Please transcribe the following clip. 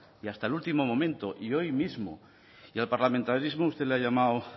y hasta el último momento y hoy mismo y al parlamentarismo usted le ha llamado